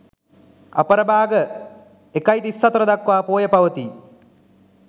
අපරභාග 01.34 දක්වා පෝය පවතී.